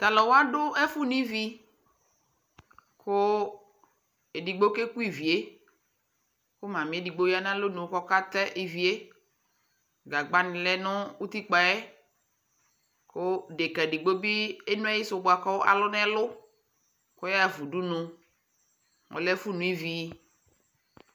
Tʊ alʊwa dʊ ɛfʊ no ivi kʊ edigbo ke ku ivi yɛ , kʊ ɔsi ɔlʊwini edigbo ya nʊ alonu kʊ ɔka tɛ ivi yɛ, gagbanɩ lɛ nʊ utikpǝ yɛ, kʊ osietsu edigbo bɩ eno ayisu bua kʊ alʊ nʊ ɛlʊ kʊ ɔyaɣa fa udunu, ɔlɛ ɛfʊ no ivi